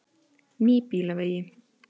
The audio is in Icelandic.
Nýbýlavegi